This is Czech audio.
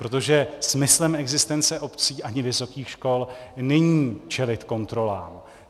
Protože smyslem existence obcí ani vysokých škol není čelit kontrolám.